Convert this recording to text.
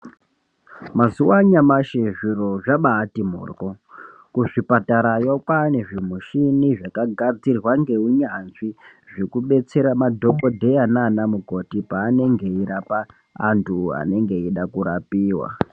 Mazuwa anyamashi zviro zvabati morwo kuzvipatarayo kwanezvimushini zvaka gadzirwa ngeunyanzvi zvekubetsera madhokodheya nanamukoti anenge eirapa antu anenge eida kurapiwa